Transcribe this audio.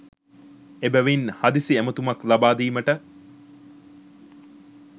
එබැවින් හදිසි ඇමතුමක් ලබාදීමට